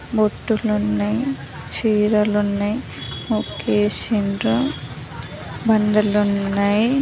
బొట్టులు ఉన్నాయి చీరలు ఉన్నాయి. ముగ్గేసిండ్రు బండలున్నాయి.